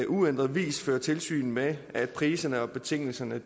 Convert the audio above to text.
uændret vis føre tilsyn med at priserne og betingelserne